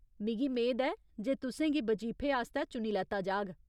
मिगी मेद ऐ जे तु'सें गी बजीफे आस्तै चुनी लैत्ता जाग।